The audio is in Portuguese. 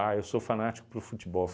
eu sou fanático para o futebol.